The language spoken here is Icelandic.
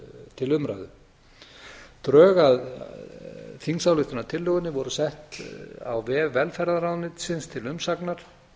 til umræðu drög að þingsályktunartillögunni voru sett á vef velferðarráðuneytisins til umsagnar